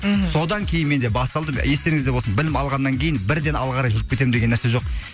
мхм содан кейін менде басталды естеріңізде болсын білім алғаннан кейін бірден алға қарай жүріп кетемін деген нәрсе жоқ